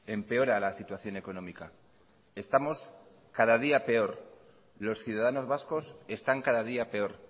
empeora la situación económica estamos cada día peor los ciudadanos vascos están cada día peor